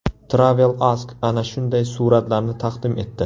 Travel Ask ana shunday suratlarni taqdim etdi.